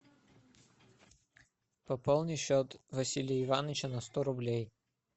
пополни счет василия ивановича на сто рублей